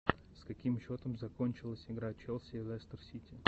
с каким счетом закончилась игра челси и лестер сити